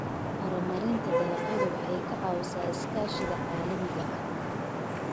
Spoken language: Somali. Horumarinta dalagyadu waxay ka caawisaa iskaashiga caalamiga ah.